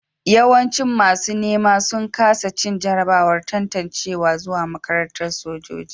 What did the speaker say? Yawancin masu nema sun kasa cin jarrabawar tantancewa zuwa makarantar sojoji